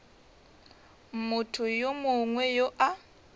motho yo mongwe yo a